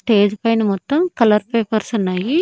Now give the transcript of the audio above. Stage పైన మొత్తం colour papers ఉన్నాయి.